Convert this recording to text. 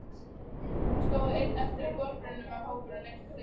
Hann stóð einn eftir við gosbrunninn þegar hópurinn leystist upp.